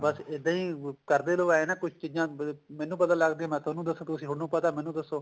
ਬੱਸ ਇੱਦਾਂ ਹੀ ਕਰਦੇ ਰਹੋ ਏਂ ਨਾ ਕੁੱਝ ਚੀਜ਼ਾਂ ਮੈਨੂੰ ਪਤਾ ਲੱਗਦੀਆਂ ਮੈਂ ਥੋਨੂੰ ਦੱਸਾਂ ਤੁਸੀਂ ਥੋਨੂੰ ਪਤਾ ਮੈਨੂੰ ਦੱਸੋ